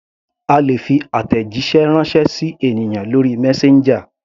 A lè fi àtẹ̀jíṣẹ́ ránṣẹ́ sí ènìyàn lórí messenger.